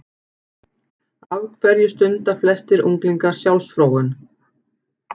Af hverju stunda flestir unglingar sjálfsfróun?